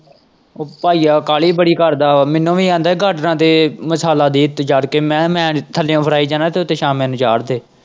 ਤੇ ਭਾਈਆ ਕਾਹਲੀ ਬੜੀ ਕਰਦਾ ਉਹ ਮੈਨੂੰ ਵੀ ਆਂਦਾ ਹੀ ਗਾਗਾਂ ਤੇ ਮਸਾਲਾ ਦੇ ਉੱਤੇ ਚੜ੍ਹ ਕੇ ਮੈਂ ਕਿਹਾ ਮੈਂ ਨਹੀਂ ਥੱਲਿਉਂ ਫੜਾਈ ਜਾਣਾ ਤੂੰ ਉੱਤੇ ਛਾਨਣ ਨੂੰ ਚਾੜ ਦੇ।